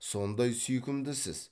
сондай сүйкімдісіз